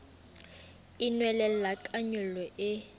e nwelella ka nyollo e